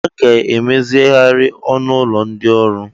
Ee! A ga-emezigharị ọnụ ụlọ ndị ọrụ.